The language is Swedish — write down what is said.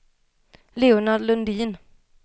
Leonard Lundin